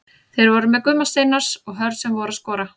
Þeir voru með Gumma Steinars og Hörð sem voru að skora.